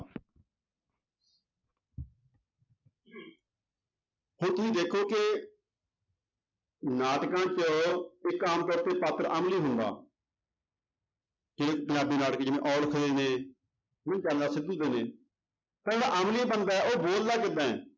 ਹੁਣ ਤੁਸੀਂ ਦੇਖੋ ਕਿ ਨਾਟਕਾਂ 'ਚ ਇੱਕ ਆਮ ਕਰਕੇ ਪਾਤਰ ਅਮਲੀ ਹੁੰਦਾ ਠੇਠ ਪੰਜਾਬੀ ਨਾਟਕ ਜਿਵੇਂ ਤਾਂ ਜਿਹੜਾ ਅਮਲੀ ਬੰਦਾ ਹੈ ਉਹ ਬੋਲਦਾ ਕਿੱਦਾਂ ਹੈ